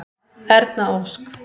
Erna Ósk.